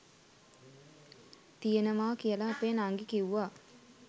තියෙනවා කියලා අපෙ නංගි කිව්වා.